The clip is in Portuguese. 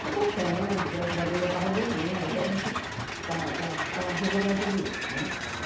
Está tratando, graças a Deus já está resolvendo, até a gente está está está resolvendo tudo isso, né? Claro.